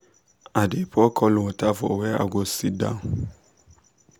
i dey pour cold water for where i go sit down